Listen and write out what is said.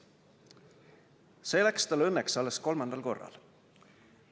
See läks tal õnneks alles kolmandal korral.